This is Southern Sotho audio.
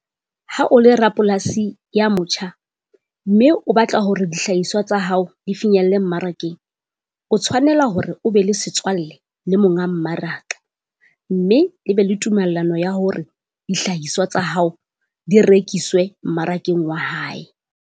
Ha o le rapolasi ya motjha, mme o batla hore dihlahiswa tsa hao di finyelle mmarakeng. O tshwanela hore o be le setswalle le monga mmaraka mme le be le tumellano ya hore dihlahiswa tsa hao di rekiswe mmarakeng wa hae.